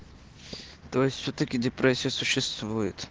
то есть всё-таки депрессия существует